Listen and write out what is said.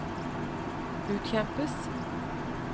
utkjempes